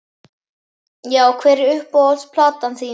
já Hver er uppáhalds platan þín?